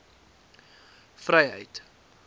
vryheid